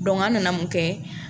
an nana mun kɛ